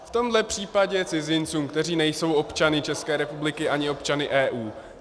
V tomhle případě cizincům, kteří nejsou občany České republiky ani občany EU.